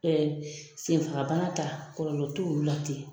senfagabana ta kɔlɔlɔ t'olu la ten